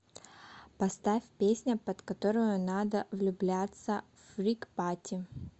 поставь песня под которую надо влюбляться фрик пати